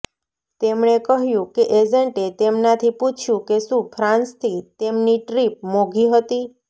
તેમણે કહ્યું કે એજેન્ટે તેમનાથી પુછયુ કે શું ફ્રાંસથી તેમની ટ્રિપ મોઘી હતી